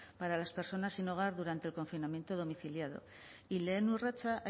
para las personas sin hogar durante el confinamiento domiciliario y lehen urratsa